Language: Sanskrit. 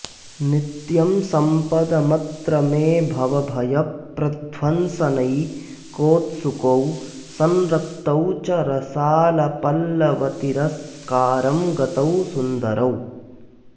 नित्यं सम्पदमत्र मे भवभयप्रध्वंसनैकोत्सुकौ संरक्तौ च रसालपल्लवतिरस्कारं गतौ सुन्दरौ